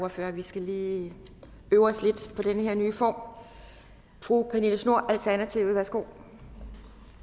ordfører vi skal lige øve os lidt på den her nye form fru pernille schnoor alternativet værsgo